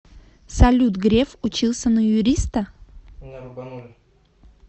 салют греф учился на юриста